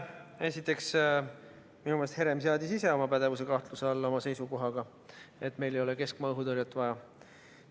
Esiteks, minu meelest seadis Herem ise oma pädevuse kahtluse alla seisukohaga, et meil ei ole keskmaaõhutõrjet vaja.